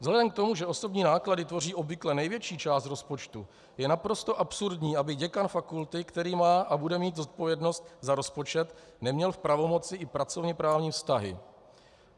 Vzhledem k tomu, že osobní náklady tvoří obvykle největší část rozpočtu, je naprosto absurdní, aby děkan fakulty, který má a bude mít zodpovědnost za rozpočet, neměl v pravomoci i pracovněprávní vztahy.